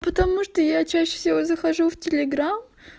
потому что я чаще всего захожу в телеграм